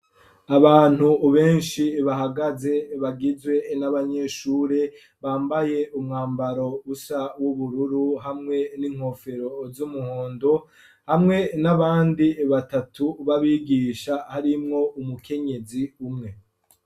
Abantu benshi bahagaze bagizwe n'abanyeshure, bambaye umwambaro usa n'ubururu hamwe n'inkofero z'umuhondo, hamwe n'abandi batatu b'abigisha harimwo umukenyezi umwe.